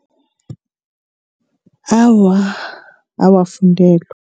Awa, awafundelwa.